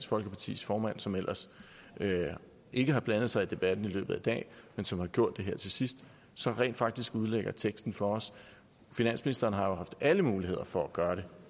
folkepartis formand som ellers ikke har blandet sig i debatten i løbet af dagen men som har gjort det her til sidst så rent faktisk udlægger teksten for os finansministeren har jo haft alle muligheder for at gøre det